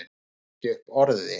Hann kom ekki upp orði.